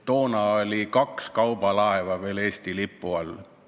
Toona oli kaks kaubalaeva veel Eesti lipu all.